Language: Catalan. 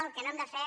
el que no hem de fer